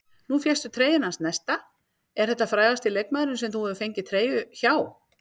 Nú fékkstu treyjuna hans Nesta, er þetta frægasti leikmaðurinn sem þú hefur fengið treyju hjá?